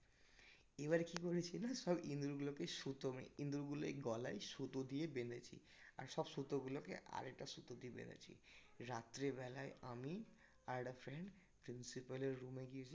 এবার কি করেছি সব ইন্দুর গুলোকে সুতো ইন্দুর গুলোর গলায় সুতো দিয়ে বেঁধেছি আর সব সুতোগুলোকে আর একটা সুতো দিয়ে বেঁধেছি রাত্রিবেলায় আমি আর একটা friend principle এর room এ গিয়েছি